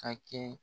Ka kɛ